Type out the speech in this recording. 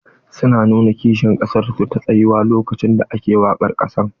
Su na nuna kishin ƙasar su ta tsayuwa lokacin da ake waƙar ƙasa.